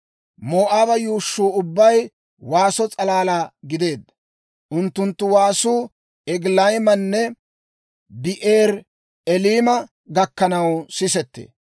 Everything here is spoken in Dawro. Moo'aaba yuushshuu ubbay waaso s'alalaa gideedda; unttunttu waasuu Egilayimanne Bi'eeri-Eliima gakkanaw sisettee.